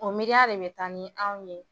O miiriya de bi taa ni anw ye